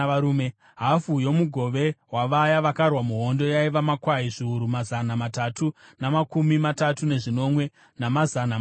Hafu yomugove wavaya vakarwa muhondo yaiva: makwai zviuru mazana matatu namakumi matatu nezvinomwe, namazana mashanu,